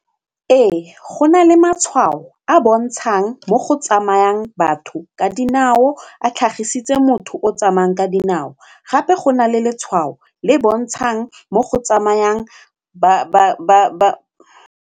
Ee go na le matshwao a bontshang mo go tsamayang batho ka dinao a tlhagisitse motho o tsamayang ka dinao gape go na le letshwao le bontshang mo go tsamayang .